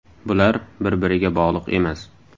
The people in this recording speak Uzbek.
Bular bir-biriga bog‘liq emas.